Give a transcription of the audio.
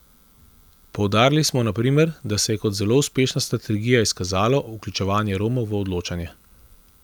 Poudarili smo na primer, da se je kot zelo uspešna strategija izkazalo vključevanje Romov v odločanje.